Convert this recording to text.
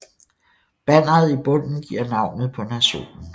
Banneret i bunden giver navnet på nationen